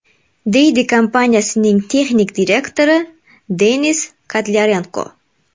deydi kompaniyaning texnik direktori Denis Kotlyarenko.